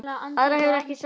Aðra hefur ekki sakað